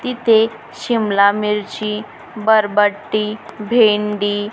इथे शिमला मिरची बरबटी भेंडी --